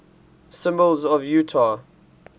symbols of utah